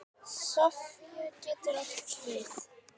Sofía getur átt við